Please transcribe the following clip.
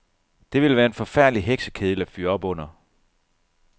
Det ville være en forfærdelig heksekedel at fyre op under.